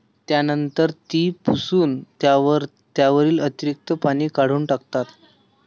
त्यानंतर ती पुसून त्यावरील अतिरीक्त पाणी काढून टाकतात.